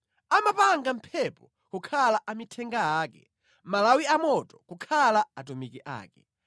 Amapanga mphepo kukhala amithenga ake, malawi amoto kukhala atumiki ake.